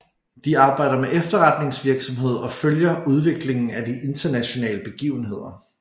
De arbejder med efterretningsvirksomhed og følger udviklingen af de internationale begivenheder